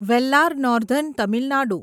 Vellar northern Tamil Nadu